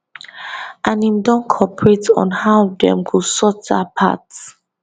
and im don cooperate on how dem go sort dat part